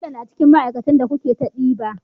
Bello na cikin ma aikatan da coke ta ɗiba